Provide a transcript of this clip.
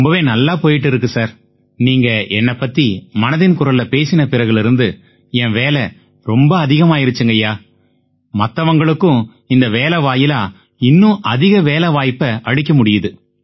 ரொம்பவே நல்லா போயிட்டு இருக்கு சார் நீங்க என்னைப் பத்தி மனதின் குரல்ல பேசின பிறகிலிருந்து என் வேலை ரொம்ப அதிகமாயிருச்சுங்கய்யா மத்தவங்களுக்கும் இந்த வேலை வாயிலா இன்னும் அதிக வேலை வாய்ப்பை அளிக்க முடியுது